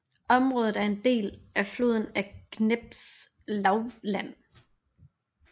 Området er en del af floden Dneprs lavland